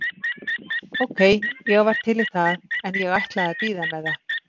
Ókei, ég var til í það en ég ætlaði að bíða með það.